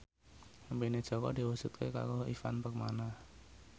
impine Jaka diwujudke karo Ivan Permana